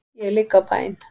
Ég ligg á bæn.